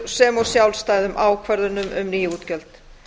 sem og sjálfstæðum ákvörðunum um ný útgjöld